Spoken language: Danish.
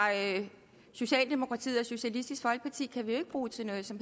socialdemokratiet og socialistisk folkeparti kan vi jo ikke bruge til noget som